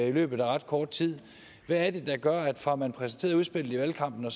i løbet af ret kort tid hvad er det der gør at man fra man præsenterede udspillet i valgkampen og